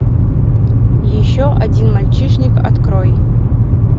еще один мальчишник открой